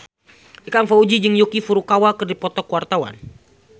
Ikang Fawzi jeung Yuki Furukawa keur dipoto ku wartawan